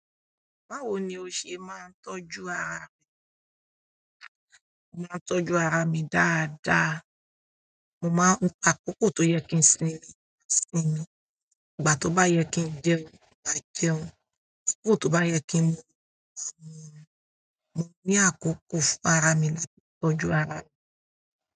Báwo ni o ṣe máa ń tọ́jú ara rẹ? Mo máa ń tọ́jú ara mi dáadáa. Mo máa ń pa àkókò tó yẹ kí n sinmi, sinmi. Ìgbà tó bá yẹ kí n jẹun, màá jẹun. Tiro tó bá yẹ kí n, mo ní àkókò fún ara mi láti tọ́jú arami.